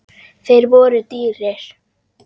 Þeir voru dýrir.